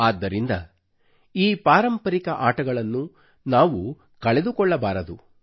ಆದ್ದರಿಂದ ಈ ಪಾರಂಪರಿಕ ಆಟಗಳನ್ನು ನಾವು ಕಳೆದುಕೊಳ್ಳಬಾರದು